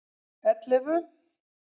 ellefu